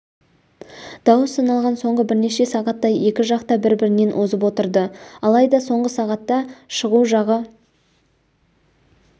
дауыс саналған соңғы бірнеше сағатта екі жақ та бір-бірінен озып отырды алайда соңғы сағатта шығу жағы